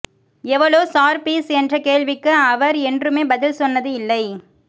எவளோ sir fees என்ற கேள்விக்கு அவர் என்றுமே பதில் சொன்னது இல்லை